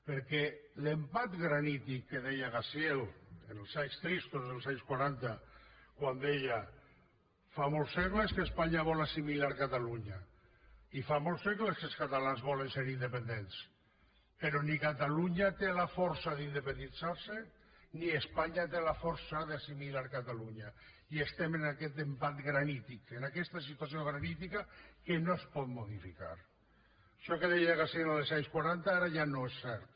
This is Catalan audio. perquè l’empat granític que deia gaziel en els anys tristos dels anys quaranta quan deia fa molts segles que espanya vol assimilar catalunya i fa molts segles que els catalans volen ser independents però ni catalunya té la força d’independitzar se ni espanya té la força d’assimilar catalunya i estem en aquest empat granític en aquesta situació granítica que no es pot modificar això que deia gaziel en els anys quaranta ara ja no és cert